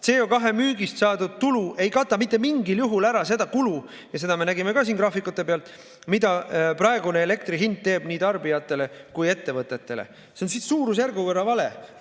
CO2 müügist saadud tulu ei kata mitte mingil juhul ära seda kulu – seda me nägime ka siin graafikute pealt –, mida praegune elektri hind tekitab nii tarbijatele kui ka ettevõtetele, see on suurusjärgu võrra vale.